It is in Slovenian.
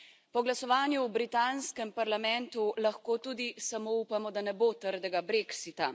Po glasovanju v britanskem parlamentu lahko tudi samo upamo, da ne bo trdega brexita.